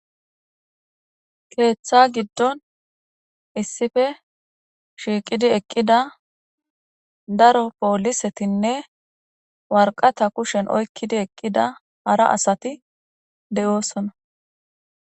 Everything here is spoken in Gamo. Keeththa giddon issife shiiqidi eqqida daro poolisetinne warqata kushen oykkidi eqqida hara asati de'oosona